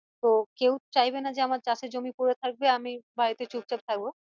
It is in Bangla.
তো কেও চাইবে না যে আমার চাষ এর জমি পরে থাকবে আমি বাড়িতে চুপচাপ থাকবো